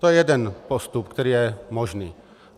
To je jeden postup, který je možný.